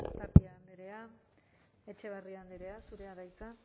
tapia andrea etxebarria andrea zurea da hitza